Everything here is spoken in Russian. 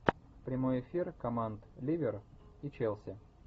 прямой эфир команд ливер и челси